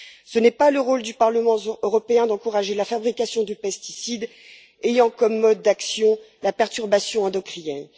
Ce n'est pas le rôle du Parlement européen d'encourager la fabrication de pesticides ayant comme mode d'action la perturbation endocrinienne.